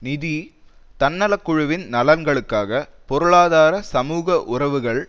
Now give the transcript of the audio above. நிதி தன்னலக்குழுவின் நலன்களுக்காக பொருளாதார சமூக உறவுகள்